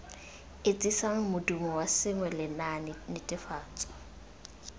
etsisang modumo wa sengwe lenaanenetefatso